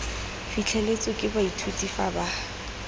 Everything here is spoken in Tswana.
fitlheletswe ke baithuti fa ba